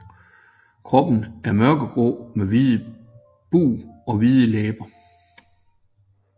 Kroppen er mørkegrå med hvid bug og hvide læber